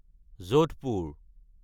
Jodhpur